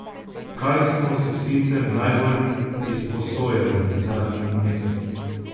Kaj smo si sicer najbolj izposojali zadnji mesec?